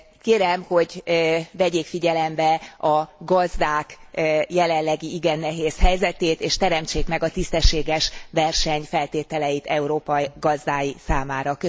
Kérem, hogy vegyék figyelembe a gazdák jelenlegi igen nehéz helyzetét, és teremtsék meg a tisztességes verseny feltételeit Európa gazdái számára!